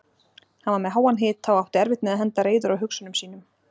Hann var með háan hita og átti erfitt með að henda reiður á hugsunum sínum.